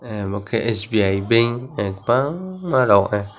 ahh omo ke sbi bank kabang rog ah.